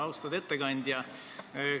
Austatud ettekandja!